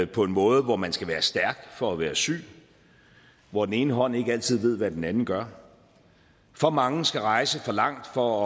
på en måde hvor man skal være stærk for at være syg hvor den ene hånd ikke altid ved hvad den anden gør for mange skal rejse for langt for